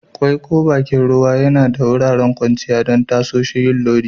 Quay ko bakin ruwa Yana ba da wuraren kwanciya don tasoshin yin lodi